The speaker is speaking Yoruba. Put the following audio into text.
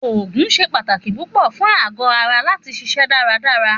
Òògùn se pàtàkì púpọ fún àgó ara lati ṣiṣẹ daradara.